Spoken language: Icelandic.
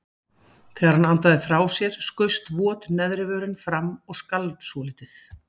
Þegar hann andaði frá sér skaust vot neðri vörin fram og skalf svolítið.